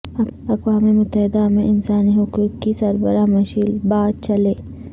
اقوام متحدہ میں انسانی حقوق کی سربراہ مشیل باچلے